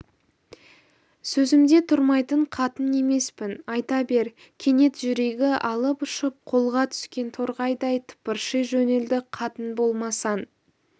сөзімде тұрмайтын қатын емеспін айта бер кенет жүрегі алып-ұшып қолға түскен торғайдай тыпырши жөнелді қатын болмасаң